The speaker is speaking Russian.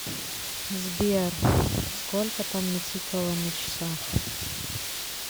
сбер сколько там натикало на часах